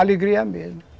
Alegria é a mesma.